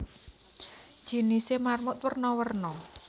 Jinisé marmut werna werna